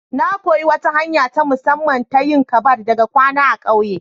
Na koyi wata hanya ta musamman ta yin ƙabad daga kawuna a ƙauyen.